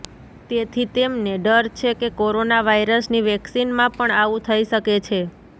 તેથી તેમને ડર છે કે કોરોના વાયરસની વેક્સીનમાં પણ આવું થઈ શકે છે